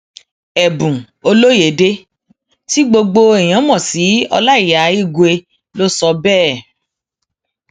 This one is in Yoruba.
ẹbùn olóyedè tí gbogbo èèyàn mọ sí ọláìyá igbe ló sọ bẹẹ